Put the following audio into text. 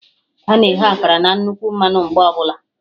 Ana eghe akara na nnukwu mmanụ mgbe ọbụla